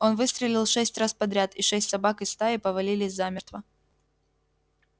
он выстрелил шесть раз подряд и шесть собак из стаи повалились замертво